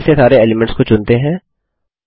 फिर से सारे एलीमेंट्स को चुनते हैं